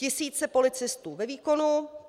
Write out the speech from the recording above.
Tisíce policistů ve výkonu.